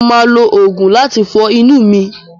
Mọ máa lo oògùn láti fọ inú mi.